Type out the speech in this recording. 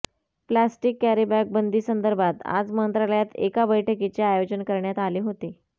plastic carry bag बंदी संदर्भात आज मंत्रालयात एका बैठकीचे आयोजन करण्यात आले होते